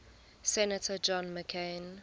senator john mccain